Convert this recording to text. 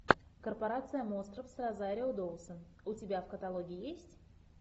корпорация монстров с розарио доусон у тебя в каталоге есть